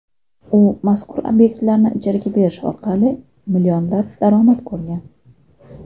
U mazkur obyektlarni ijaraga berish orqali millionlab daromad ko‘rgan.